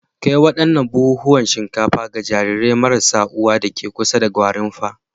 Kai wannan buhunan shinkafa ga jarirai marasa uwa deke kusa da Gwarimpa.